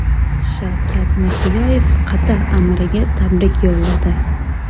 Shavkat Mirziyoyev Qatar amiriga tabrik yo‘lladi.